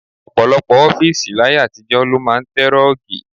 Ọ̀pọ̀lọpọ̀ ọ́fíìsì láyé àtijọ́ ló máa ń tẹ rọ́ọ̀gì.